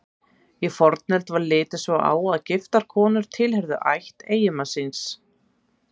Í fornöld var litið svo á að giftar konur tilheyrðu ætt eiginmanns síns.